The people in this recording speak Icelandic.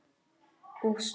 Og stól.